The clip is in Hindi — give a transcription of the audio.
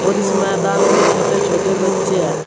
और इस मैदान में छोटे छोटे बच्चे हैं।